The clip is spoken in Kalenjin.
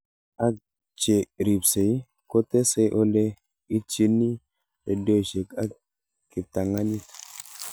Ak che ripsei kotesei ole itchini redioshek ak kiptanganyit